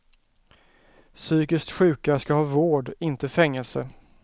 Psykiskt sjuka ska ha vård, inte fängelse.